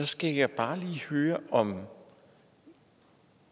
skal jeg bare lige høre om